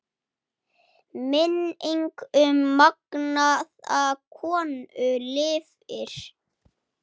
Minning um magnaða konu lifir.